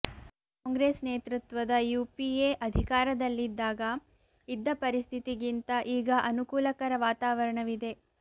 ಕಾಂಗ್ರೆಸ್ ನೇತೃತ್ವದ ಯುಪಿಎ ಅಧಿಕಾರದಲ್ಲಿದ್ದಾಗ ಇದ್ದ ಪರಿಸ್ಥಿತಿಗಿಂತ ಈಗ ಅನುಕೂಲಕರ ವಾತಾವರಣವಿದೆ